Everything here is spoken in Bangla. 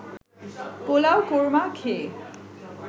পোলাও কোরমা খেয়ে